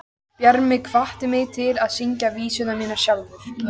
Bjarni hvatti mig til að syngja vísurnar mínar sjálfur.